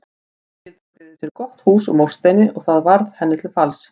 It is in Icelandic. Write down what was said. Fjölskyldan byggði sér gott hús úr múrsteini og það varð henni til falls.